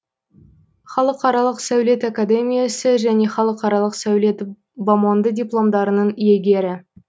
халықаралық сәулет академиясы және халықаралық сәулет бомонды дипломдарының иегері